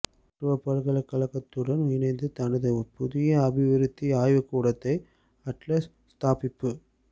மொரட்டுவ பல்கலைக்கழகத்துடன் இணைந்து தனது புதிய அபிவிருத்தி ஆய்வுகூடத்தை அட்லஸ் ஸ்தாபிப்பு